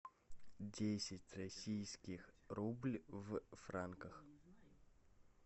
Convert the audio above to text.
десять российских рубль в франках